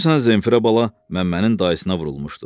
Xüsusən Zenfira bala Məmmənin dayısına vurulmuşdu.